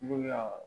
N'u y'a